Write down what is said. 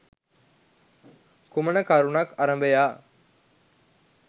කුමන කරුණක් අරභයා